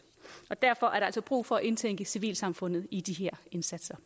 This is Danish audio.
derfor er der altså brug for at indtænke civilsamfundet i de her indsatser